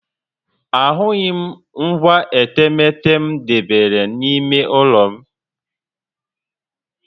Ahụghị m ngwa etemeete m debere n'ime ụlọ m